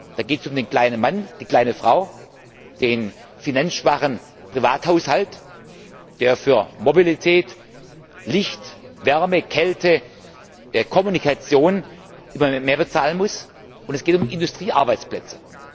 Da geht es um den kleinen Mann, die kleine Frau, den finanzschwachen Privathaushalt, der für Mobilität, Licht, Wärme, Kälte, Kommunikation immer mehr bezahlen muss, und es geht um Industriearbeitsplätze.